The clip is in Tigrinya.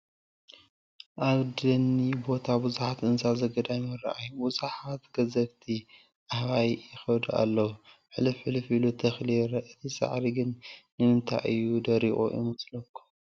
ኣብ ደኒ ቦታ ብዙሓት እንስሳ ዘገዳም ይራኣዩ፡፡ ብዙሓት ገዘፍቲ ኣህባይ ይኸዱ ኣለው፡፡ ሕልፍሕልፍ ኢሉ ተኽሊ ይረአ፡፡ እቲ ሳዕሪ ግን ንምንታይ እዩ ደሪቑ ይመስለኩም?